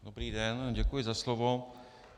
Dobrý den, děkuji za slovo.